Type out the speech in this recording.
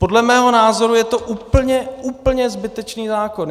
Podle mého názoru je to úplně, úplně zbytečný zákon.